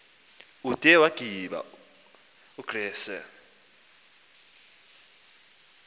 ude waggiba ugrissel